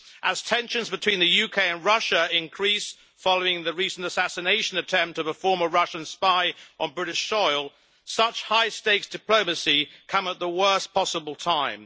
As tensions between the UK and Russia increase following the recent assassination attempt of a former Russian spy on British soil, such high stakes diplomacy come at the worst possible time.